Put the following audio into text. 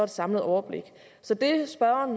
samlet overblik så det spørgeren